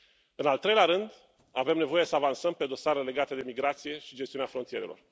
În al treilea rând, avem nevoie să avansăm pe dosare legate de migrație și gestiunea frontierelor.